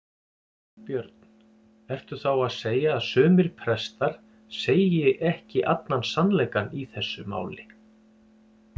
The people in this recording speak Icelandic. Björn: Ertu þá að segja að sumir prestar segir ekki allan sannleikann í þessu máli?